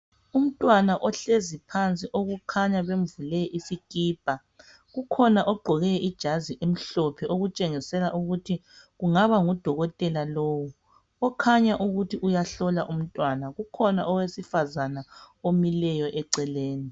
Umntwana ohlezi phansi okukhanya bemvule isikipa kukhona ogqoke ijazi elimhlophe okutshengisela ukuthi kungaba ngudokotela lowu okukhanya ukuthi uyahlola umntwana kukhona owesifazana omileyo eceleni.